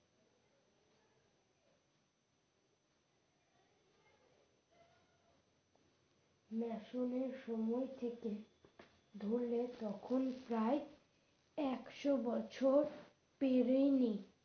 Mason এর সময় থেকে ধরলে তখন প্রায় একশো বছর পেরেনি।